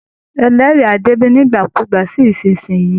Ẹlẹ́rìí á dé bí nígbàkúùgbà sí ìsinsìnyí